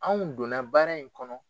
Anw don na baara in kɔnɔ.